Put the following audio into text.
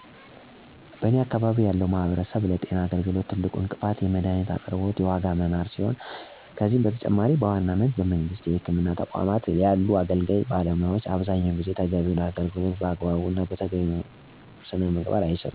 በኔ አካባቢ ያለው ማህበረሰብ ለጤና አገልግሎት ትልቁ እንቅፋት የመድሀኒት አቅርቦት የዋጋ መናር ሲሆን ከዚህም በተጨማሪ በዋናነት በመንግስት የህክምና ተቋማት ያሉ አገልጋይ ባለሙያዎች አብዛኛውን ጊዜ ተገቢውን አገልግሎት በአግባቡ እና በተገቢው ሙያዊ ሥነ ምግባር ማህበረሰቡን ለማገልገል የተነሳሽነት ችግር አለባቸው። በተጨማሪም በመንግስት የህክምና ተቋማት ብዙ ጊዜ መድሀኒቶች ተሟልተው አይገኙም። በዚህ ምክንያት ማህበረሰቡ መድሀኒቶችን በውድ ዋጋ ከግል መድሀኒት ቤቶች ለግዛት አስገዳጅ ሁኔታ ውስጥ ይገባል። ስለሆነም ብዙ ጊዜ የአካባቢያችን ማህበረሰብ የመድሀኒቶችን ውድነት እና በባለሙያወችን የሚደርስበትን የአገልግሎት አሠጣጥ እንግልት በመፍራት ባህላዊ የህክምና መንገዶችን እና ሀይማኖታዊ መንገዶችን በመፍትሔነት ለመጠቀም ይገደዳል።